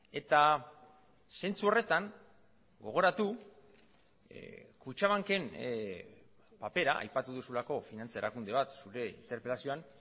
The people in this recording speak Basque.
eta zentzu horretan gogoratu kutxabanken papera aipatu duzulako finantza erakunde bat zure interpelazioan